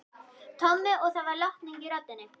Tommi og það var lotning í röddinni.